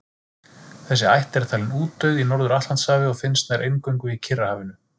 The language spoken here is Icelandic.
Þessi ætt er talin útdauð í Norður-Atlantshafi og finnst nær eingöngu í Kyrrahafinu.